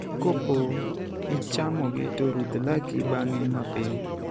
Kopo ichamogi to rudh laki bang'e mapiyo.